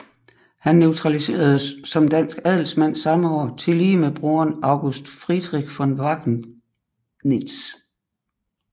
Han naturaliseredes som dansk adelsmand samme år tillige med broderen August Friedrich von Wackenitz